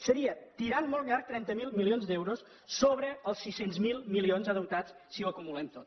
seria tirant molt llarg trenta miler milions d’euros sobre els sis cents miler milions endeutats si ho acumulem tot